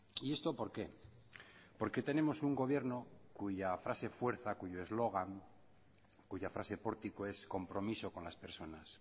y esto por qué porque tenemos un gobierno cuya frase fuerza cuyo eslogan cuya frase pórtico es compromiso con las personas